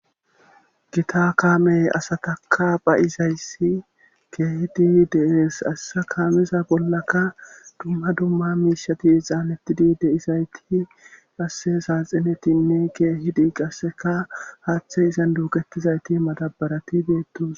gita kaamey asataka beyizayssi keehiti dees assa kaamiza bollaka dumma dumma miishati xaanettidi deizayti qasse saaxinetinne keehidi qasseka haaththe izan duuketizayti matabarati deettos